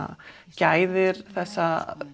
gæðir þessa